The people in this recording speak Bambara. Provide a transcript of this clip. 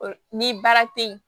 Ni baara te yen